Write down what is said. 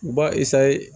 Ba